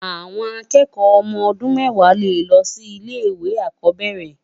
Awòn àkèèkò òmò òdún mèwá lé lo si ile iwé ákòbèrè